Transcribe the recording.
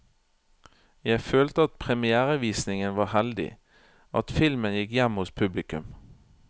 Jeg følte at premièrevisningen var heldig, at filmen gikk hjem hos publikum.